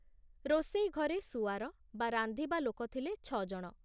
ରୋଷେଇ ଘରେ ସୁଆର ବା ରାନ୍ଧିବା ଲୋକ ଥିଲେ ଛ ଜଣ।